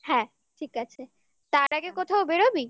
হ্যাঁ ঠিক আছে তার আগে কোথাও বেরোবি